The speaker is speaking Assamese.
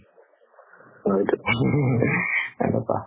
সেনেকুৱা